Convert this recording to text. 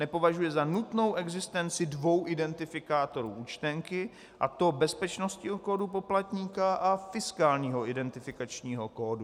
Nepovažuje za nutnou existenci dvou identifikátorů účtenky, a to bezpečnostního kódu poplatníka a fiskálního identifikačního kódu.